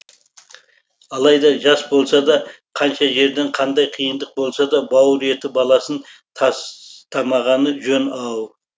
алайда жас болса да қанша жерден қандай қиындық болса да бауыр еті баласын тастамағаны жөн ау